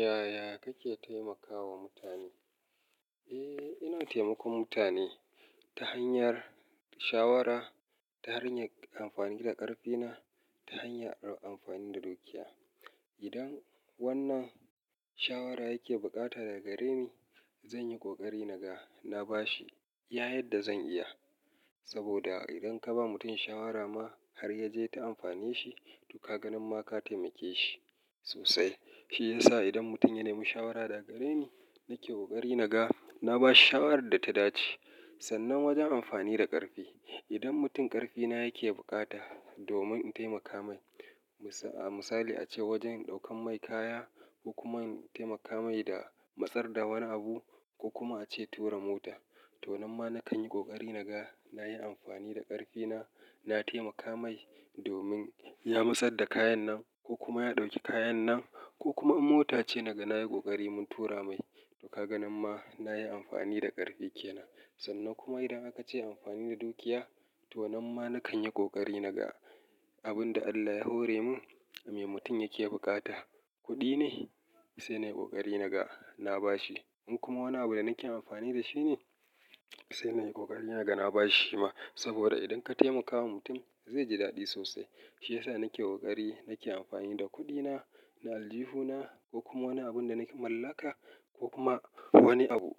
Yaya kake taimakawa mutane? Eh, ina taimakon mutane ta hanyar shawara, ta hanyar amfanin da ƙarfina, ta hanyar amfani da dukiya. Idan wannan shawara yake bukata daga gare ni, zan yi ƙoƙari na ga na bashi iya yadda zan iya. Saboda idan ka ba mutum shawara ma har yaje ya amfane shi kaga nan ma ka taimeki shi sosai. Shi yasa idan mutum ya nemi shawara daga gare ni, nake ƙoƙari na ga na bashi shawarar da ta dace. Sannan wajen amfani da ƙarfi, idan mutum ƙarfina yake bukata domin in taimaka mai, a misali a ce wajen ɗaukan mai kaya ko kuma in taimaka mai da matsar da wani abu ko kuma a ce tura mota, to nan ma na kan yi ƙoƙari na ga na yi amfani da ƙarfina na taimaka mai domin ya matsar da kayan nan ko kuma ya ɗauki kayan nan ko kuma in mota ce naga na yi ƙoƙari mun tura mai to ka ga nan ma na yi amfani da ƙarfi kenan. Sannan kuma idan aka ce amfani da dukiya, to nan ma na kan yi ƙoƙari na ga abin da Allah ya hore mun me mutum yake buƙata. Kuɗi ne? Sai na yi ƙoƙari na ga na bashi. In kuma wani abu da nake amfani da shi ne, sai na yi ƙoƙari na ga na bashi shima. Saboda idan ka taimakawa mutum zai ji daɗi sosai. Shi yasa nake ƙoƙari nake amfani da kuɗina, da aljihuna ko kuma wani abun da na mallaka ko kuma wani abu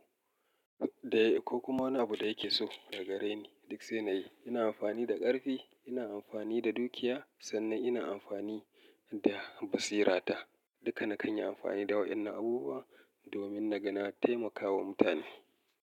da-- ko kuma wani abu da yake so daga gare ni duk sai na yi. Ina amfani da ƙarfi, ina amfani da dukiya sannan ina amfani da basirata. Duka na kan yi amfani da waɗannan abubuwan domin na ga na taimakawa mutane.